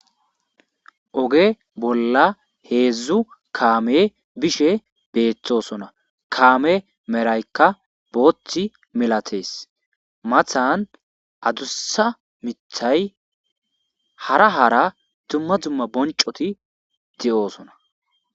oge bolla heedzdzu kaame bishe beetthosona kaame meraykka booththi milatees mathan adussa mithay hara hara dumma dzumma boncoti de7oosona